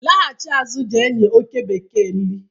laghachi azụ je nye oke bekee nri